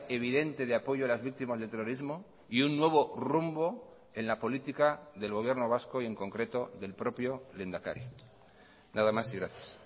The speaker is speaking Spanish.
evidente de apoyo a las víctimas del terrorismo y un nuevo rumbo en la política del gobierno vasco y en concreto del propio lehendakari nada más y gracias